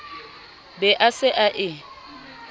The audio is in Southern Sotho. be a se a e